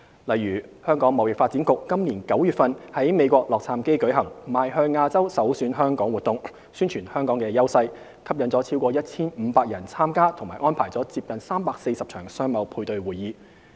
例如香港貿易發展局今年9月在美國洛杉磯舉行"邁向亞洲˙首選香港"活動，宣傳香港的優勢，吸引逾 1,500 人參加及安排了接近340場商貿配對會議。